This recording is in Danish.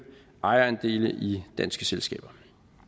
ejerandele i danske selskaber